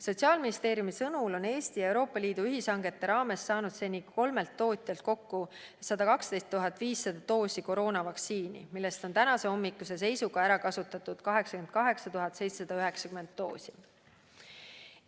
Sotsiaalministeeriumi sõnul on Eesti Euroopa Liidu ühishangete raames saanud seni kolmelt tootjalt kokku 121 470 doosi koroonavaktsiini, millest on tänahommikuse seisuga ära kasutatud 88 790 doosi.